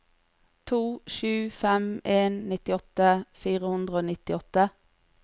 to sju fem en nittiåtte fire hundre og nittiåtte